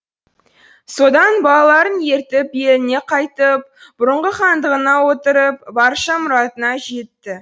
содан балаларын ертіп еліне қайтып бұрынғы хандығына отырып барша мұратына жетті